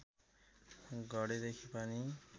घडेदेखि पानी